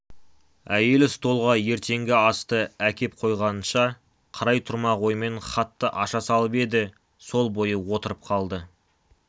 әйелі столға ертеңгі асты әкеп қойғанынша қарай тұрмақ оймен хатты аша салып еді сол бойы отырып қалды